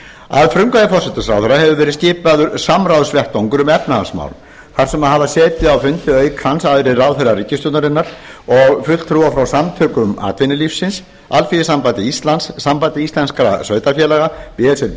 að frumkvæði forsætisráðherra hefur verið skipaður samráðsvettvangur um efnahagsmál þar eru hafa setið á fundi auk hans aðrir ráðherrar ríkisstjórnarinnar og fulltrúar frá samtökum atvinnulífsins alþýðusambandi íslands sambandi íslenskra sveitarfélaga b s r